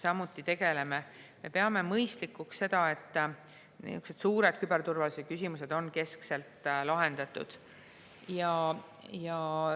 Me peame mõistlikuks seda, et niisugused suured küberturvalisuse küsimused on keskselt lahendatud.